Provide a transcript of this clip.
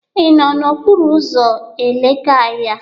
Ị nọ n'okporo ụzọ Elekahịa?